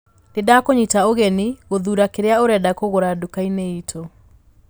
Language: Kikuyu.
Nindakũnyita ũgeni gũthuura kĩrĩa ũrenda kũruga nduka-inĩ itũ